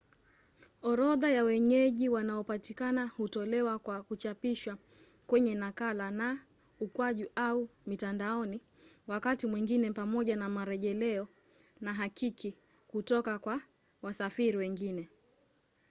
orodha ya wenyeji wanaopatikana hutolewa kwa kuchapishwa kwenye nakala na/au mitandaoni wakati mwingine pamoja na marejeleo na hakiki kutoka kwa wasafiri wengine